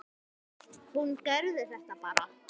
Hún gerði þetta bara.